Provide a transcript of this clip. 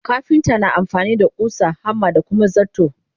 kafinta na amfani da ƙusa, hammer da Kuma zarto.